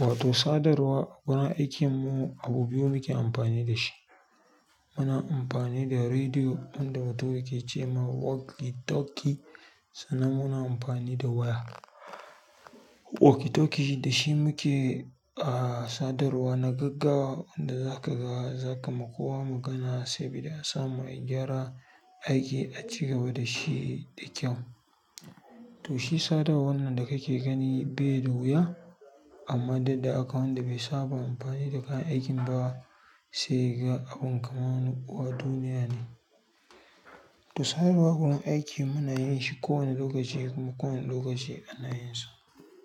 Wato sadarwa a gurin aikin mu abu biyu muke amfani da shi. Muna amfani da rediyo wanda wato yake ce ma walkie talkie, sannan muna amfani da waya. Walkie talkie da shi muke, ah, sadarwa na gaggawa inda za ka ga za ka ma kowa magana sabida a ya samu a yi gyara aiki a cigaba da shi da kyau. To shi sadarwar nan da ka ke gani bai da wuya, amma dai akwai wanda bai saba amfani da kayan aikin ba. Sai ga abin kaman wani uwa duniya ne. To sadarwa a gurin aiki muna yin shi kowane lokaci kuma kowane lokaci ana yin su.